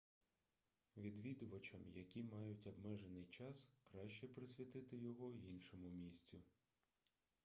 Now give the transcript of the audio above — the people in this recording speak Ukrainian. відвідувачам які мають обмежений час краще присвятити його іншому місцю